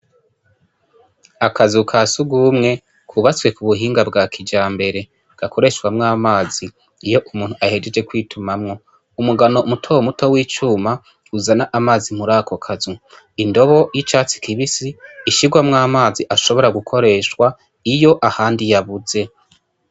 Akazu ka surwumwe kubatswe ku buhinga bwa kijambere, gakoreshwamwo amazi, iyo umuntu ahejeje kw'itumamwo. Umugano muto muto w'icuma, uzana amazi muri ako kazu. Indobo y'icatsi kibisi, ishirwamwo amazi ashobora gukoreshwa, iyo ahandi yabuze.